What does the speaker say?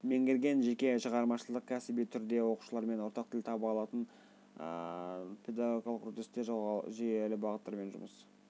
меңгерген жеке шығармашылық кәсіби түрде оқушылармен ортақ тіл таба алатын педагогикалық үрдісте жүйелі бағыттармен жұмыс